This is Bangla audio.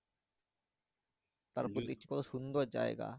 তারপর দেখছি কত সুন্দর জায়গা।